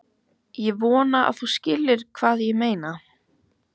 Ég vona að þú skiljir hvað ég meina.